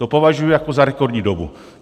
To považuji jako za rekordní dobu.